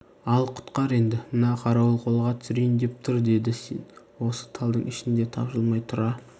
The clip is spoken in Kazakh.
ал құтқар енді мына қарауыл қолға түсірейін деп тұр деді сен осы талдың ішінде тапжылмай тұра